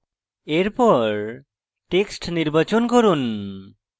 এরপর text নির্বাচন করুন